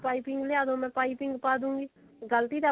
ਪਾਈਪਿੰਨ ਲਿਆ ਦੋ ਮੈਂ ਪਾਈਪਿੰਨ ਪਾਦੂਂਗੀ ਗਲਤੀ ਤਾਂ